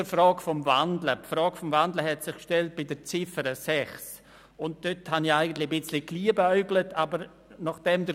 Wir kommen zur Abstimmung über die «Kantonale Velo-Offensive», Traktandum 48.